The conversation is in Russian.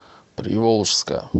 приволжска